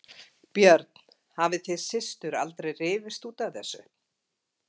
Björn: Hafið þið systur aldrei rifist út af þessu?